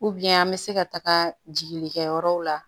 an bɛ se ka taga jigili kɛ yɔrɔw la